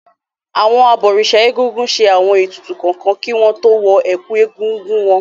Àwọn abọ̀rìṣà Egúngún ṣe àwọn ètùtù kọ̀ọ̀kan kí wọ́n tó wọ ẹ̀kú Egúngún wọn.